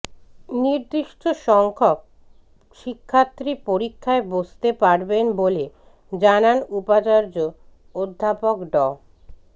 নির্দিষ্ট সংখ্যক শিক্ষার্থী পরীক্ষায় বসতে পারবেন বলে জানান উপাচার্য অধ্যাপক ড